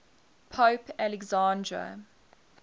pope alexander